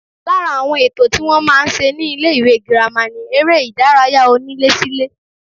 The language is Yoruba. Lára àwọn ètò tí wọ́n máa ń ṣe ní ilé-ìwé girama ni eré-ìdárayá onílésílé